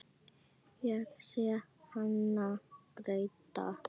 Ég sé hana gráta.